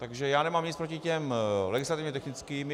Takže já nemám nic proti těm legislativně technickým.